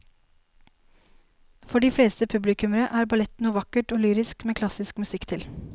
For de fleste publikummere er ballett noe vakkert og lyrisk med klassisk musikk til.